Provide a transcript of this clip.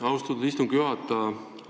Austatud istungi juhataja!